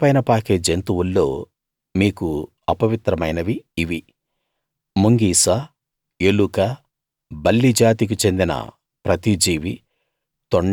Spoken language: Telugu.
నేలపైన పాకే జంతువుల్లో మీకు అపవిత్రమైనవి ఇవి ముంగిస ఎలుక బల్లి జాతికి చెందిన ప్రతి జీవీ